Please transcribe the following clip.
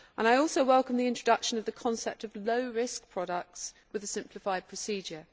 I also welcome the introduction of the concept of low risk products with a simplified procedure.